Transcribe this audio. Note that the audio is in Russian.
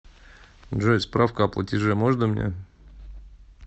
джой справку о платеже можно мне